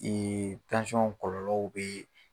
kɔlɔlɔw bee